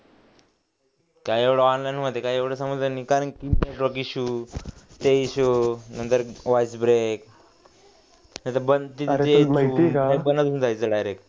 काय एवढं ऑनलाइन मध्ये काय एवढं समजलं नाही कारण नंतर वॉइस ब्रेक घेऊन जायचं direct